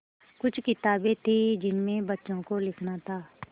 कुछ किताबें थीं जिनमें बच्चों को लिखना था